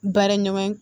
Baara ɲɔgɔn